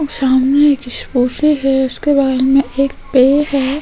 सामने एक से है उसके बाजू में एक पेड़ है।